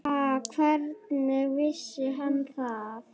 Ha, hvernig vissi hann það?